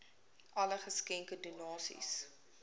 alle geskenke donasies